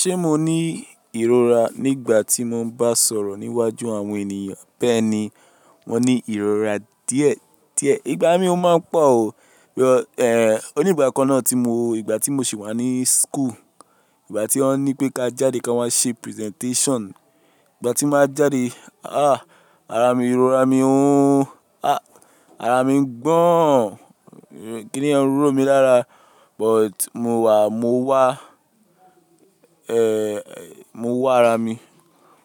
Ṣé mo ní ìrora nígbà tí mo ń bá sọ̀rọ̀ níwájú àwọn ènìyàn? Bẹ́ẹ̀ni, mo ní ìrora díẹ̀, díẹ̀. Ìgbà mí ó máa ń pọ̀ o. Bí i, eh, òní ìgbà kan náà tí mo, ìgbà tí mo sì wà ní school, ìgbà tí wọ́n ní pé ká jáde kí a máa ṣe presentation. Ìgbà tí màá jáde, ah, ara mi, ìrora mi o, ah, ara mi ń gbọ́n. Kíni yẹ́ń ro mi lára, but mo wà, mo wá, eh, mo wá ara mi.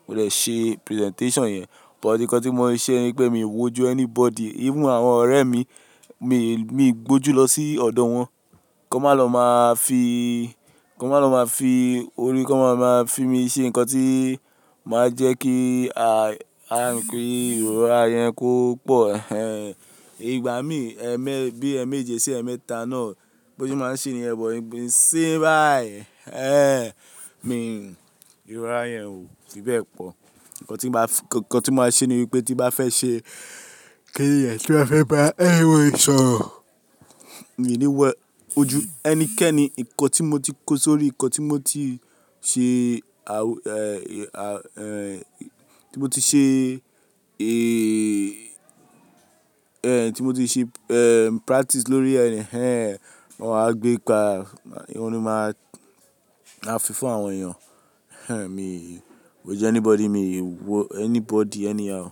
Mo dẹ̀ ṣe presentation yẹn. But nǹkan tí mo ṣe ni pé mi wojú anybody, even àwọn ọ̀rẹ́ mi. Mi, mi gbójú lọ sí ọ̀dọ̀ wọn, kí wọn má lọ máa fi, kí wọn má lọ máa fi orí, kí wọn máa lọ máa fi mí ṣe nǹkan tí máa jẹ́ kí, a, kí ìrora yẹn kó pọ̀. Ẹ̀hẹn. Ìgbà mí ẹmẹ, bí ẹmẹ́ji sí ẹmẹ́ta náà, gbójú máa ń ṣe ni yẹn but, igbìn, isíyin báyìí ẹ̀. Eh, mi ìrora yẹn ò fi bẹ́ẹ̀ pọ̀. Ǹkan tí n bá fi, ǹkan tí màá ṣe ni wípé tí bá fẹ́ ṣe kíniyẹn, tí n ba fẹ́ bá, anybody ìṣọ̀rọ̀. Mi ò ní wẹ ojú ẹnikẹ́ni. Ǹkan tí mo ti kó sórí, ǹkan tí mo ti ṣe, awu, eh, ti mo ti ṣe, eh, ti mo ti ṣe, eh, practice lórí ẹ, ẹhẹn, wọ́n ma wá gbé pa. Ọun ni máa, máa fí fún àwọn èèyàn. Ẹhẹn, mi ò jẹ́ anybody, mi ò wo anybody, anyhow.